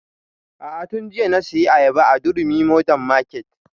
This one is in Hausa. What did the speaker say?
A'a tun jiya na saya ayaba a durumi modern market